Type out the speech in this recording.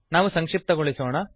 ನಾವು ಸಂಕ್ಶಿಪ್ತಗೊಳಿಸೋಣ